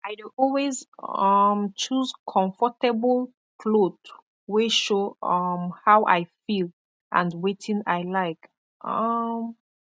i dey always um choose konfortabol kloth wey show um how i feel and wetin i like um